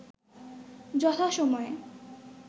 যথা সময়ে